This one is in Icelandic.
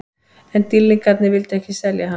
En Dýrlingarnir vildu ekki selja hann.